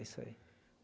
É isso aí.